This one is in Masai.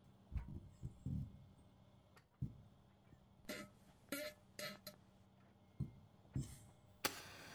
tipika enkare tenenare aa tedekenya ashu etaa keeku teipa